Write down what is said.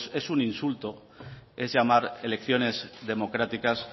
es un insulto es llamar elecciones democráticas